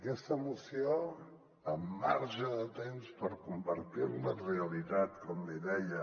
aquesta moció amb marge de temps per convertir la en realitat com li deia